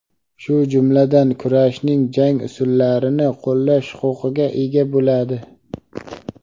shu jumladan kurashning jang usullarini qo‘llash huquqiga ega bo‘ladi:.